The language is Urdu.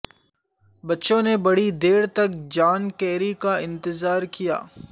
بچوں نے بڑی دیر تک جان کیری کا انتظار کیا